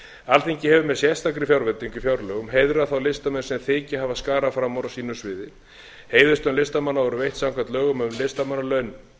alþingi hefur með sérstakri fjárveitingu í fjárlögum heiðrað þá listamenn sem þykja hafa skarað fram úr á sínu sviði heiðurslaun listamanna voru veitt samkvæmt lögum um listamannalaun